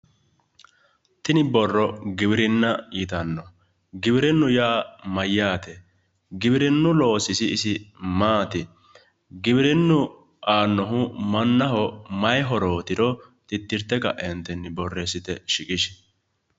tini borro giwirinna yitanno giwirinna yaa mayyaate? giwirinnu loosisi isi maati? giwirinnu aanoho mananho mayi horootiro titirte kaeentinni borreessite shiqishi.